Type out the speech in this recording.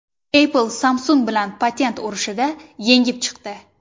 Apple Samsung bilan patent urushida yengib chiqdi.